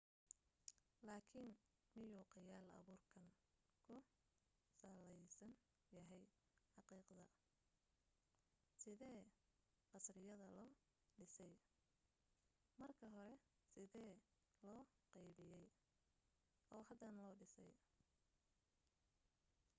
laakin miyuu khayaal abuurkeen ku salaysan yahay xaqiiqadda sidee khasriyadda loo dhisay marka hore sidee loo qaabeeyey oo hadan loo dhisay